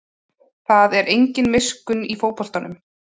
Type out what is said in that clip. Það er engin miskunn í fótboltanum